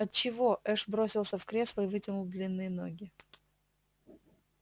от чего эш бросился в кресло и вытянул длинные ноги